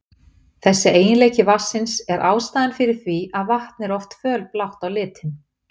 Þessi eiginleiki vatnsins er ástæðan fyrir því að vatn er oft fölblátt á litinn.